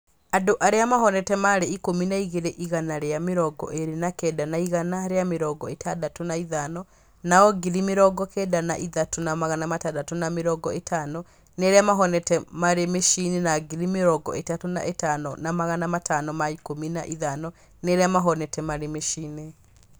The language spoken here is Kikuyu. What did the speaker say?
Andũ arĩa mahonete marĩ ikũmi na ngiri igana rĩa mĩrongo ĩrĩ na kenda na igana rĩa mĩrongo ĩtandatũ na ithano, nao ngiri mĩrongo kenda na ithatũ na magana matandatũ na mĩrongo ĩtano nĩ arĩa mahonete marĩ mĩciĩ-inĩ na ngiri mĩrongo ĩtatũ na itano na magana matano ma ikũmi na ithano nĩ arĩa mahonete marĩ mĩciĩ-inĩ.